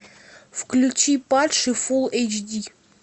включи падший фул эйч ди